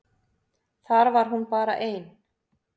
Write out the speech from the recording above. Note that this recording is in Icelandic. Þar var hún bara ein.